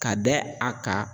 Ka dɛ a kan